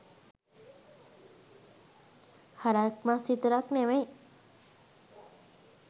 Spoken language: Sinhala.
හරක් මස් විතරක් නෙවෙයි